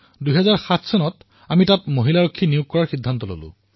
২০০৭ত তাত মহিলা সুৰক্ষাকৰ্মী নিযুক্তি দিলো